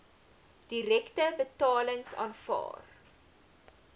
direkte betalings aanvaar